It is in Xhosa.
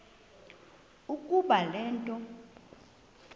ukuba le nto